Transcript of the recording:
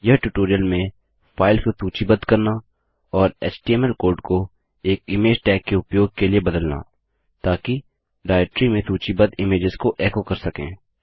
यह ट्यूटोरियल में फाइल्स को सूचीबद्ध करना और एचटीएमएल कोड को एक इमेज टैग के उपयोग के लिए बदलना ताकि डाइरेक्टरी में सूचीबद्ध इमेज्स को एको कर सकें